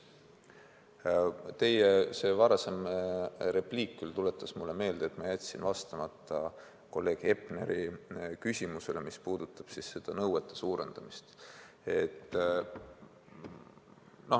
Aga teie varasem repliik tuletas mulle meelde, et ma jätsin vastamata kolleeg Hepneri küsimusele, mis puudutas nõuete karmistamist.